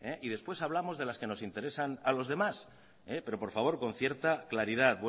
y después hablamos de las que nos interesan a los demás pero por favor con cierta claridad